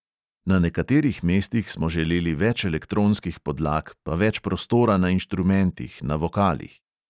Na nekaterih mestih smo želeli več elektronskih podlag, pa več prostora na inštrumentih, na vokalih.